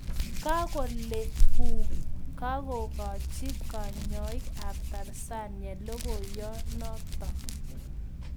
Kakolee WHO kakokachii kanyaik ap Tanzania logoiyondo notok